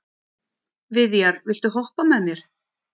Viðjar, viltu hoppa með mér?